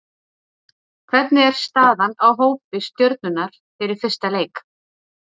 Hvernig er staðan á hópi Stjörnunnar fyrir fyrsta leik?